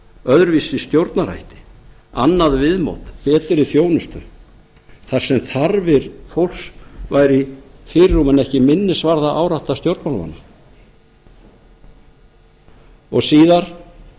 öðruvísi stjórnarhætti annað viðmót og betri þjónustu þar sem þarfir fólks væru í fyrirrúmi en ekki minnisvarðaárátta stjórnmálamanna og síðar en